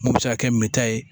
Mun bɛ se ka kɛ min ta ye